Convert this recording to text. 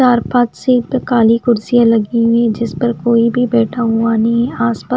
चार पांच सीट पे काली कुर्सियां लगी हुई है जिस पर कोई भी बैठा हुआ नई है आस पास--